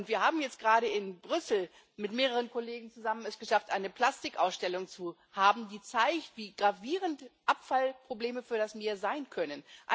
Wir haben es jetzt gerade in Brüssel mit mehreren Kollegen zusammen geschafft, eine Plastikausstellung zu machen, die zeigt, wie gravierend Abfallprobleme für das Meer sein können.